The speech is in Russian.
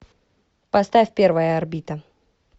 поставь первая орбита